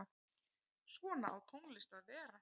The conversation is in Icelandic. Svona á tónlist að vera.